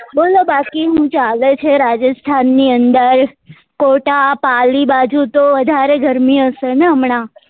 બોલો બાકી હું ચાલે છે રાજસ્થાન ની અંદર કોટા પાલી બાજુ તો વધારે ગરમી હશે ને હમણાં